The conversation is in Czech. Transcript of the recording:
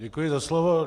Děkuji za slovo.